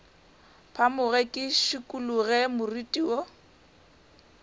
phamoge ke šikologe moriti wo